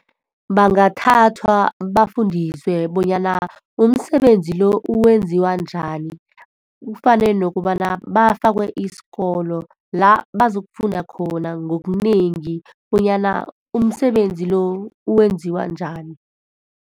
Bangathathwa, bafundiswe bonyana umsebenzi lo wenziwa njani. Kufane nokobana bafakwe isikolo, la bazokufunda khona ngokunengi bonyana umsebenzi lo wenziwa njani.